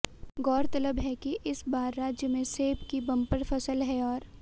गौरतलब है कि इस बार राज्य में सेब की बम्पर फसल है और